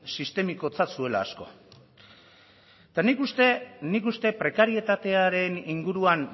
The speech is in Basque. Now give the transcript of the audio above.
sistemikotzat zuela asko eta nik uste prekarietatearen inguruan